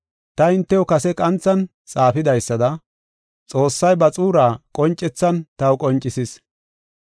Ta hintew kase qanthan xaafidaysada Xoossay ba xuuraa qoncethan taw qoncisis.